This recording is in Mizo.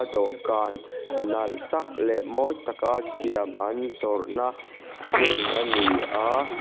dawhkan nalh tak leh mawi taka siam an zawrhna hmun a ni a.